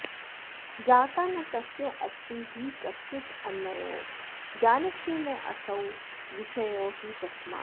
ज्ञाता न तस्यास्ति हि कश्चिदन्यो ज्ञानस्य नासौ विषयो हि तस्मात्